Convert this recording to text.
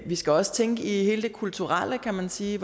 vi skal også tænke i hele det kulturelle kan man sige